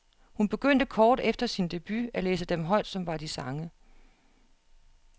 Hun begyndte kort efter sin debut at læse dem højt som var de sange.